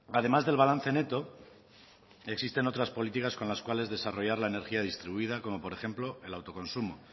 además del balance neto existen otras políticas con las cuales desarrollar la energía distribuida como por ejemplo el autoconsumo